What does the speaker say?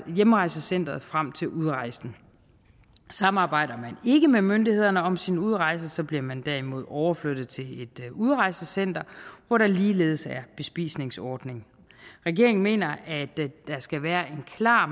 hjemrejsecenteret frem til udrejsen samarbejder man ikke med myndighederne om sin udrejse bliver man derimod overflyttet til et udrejsecenter hvor der ligeledes er bespisningsordning regeringen mener at der skal være en klar